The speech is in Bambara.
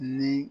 Ni